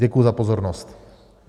Děkuji za pozornost.